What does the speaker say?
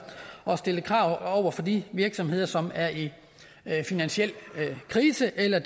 og stille krav over for de virksomheder som er i finansiel krise eller